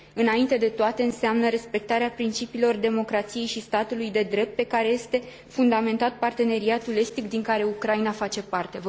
Înainte de toate, înseamnă respectarea principiilor democrației și statului de drept, pe care este fundamentat Parteneriatul estic, din care Ucraina face parte.